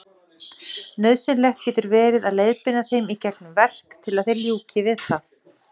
Nauðsynlegt getur verið að leiðbeina þeim í gegnum verk til að þeir ljúki við það.